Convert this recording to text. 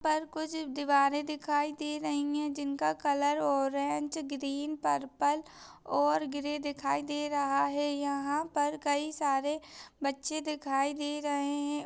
पर कुछ दिवारे दिखाई दे रही है। जिनका कलर ऑरेंज ग्रीन पर्पल और ग्रे दिखाई दे रहा है। यहाँ पर कई सारे बच्चे दिखाई दे रहे है।